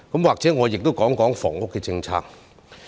或許我也說說房屋政策。